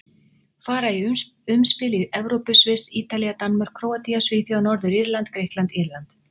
Fara í umspil í Evrópu Sviss Ítalía Danmörk Króatía Svíþjóð Norður-Írland Grikkland Írland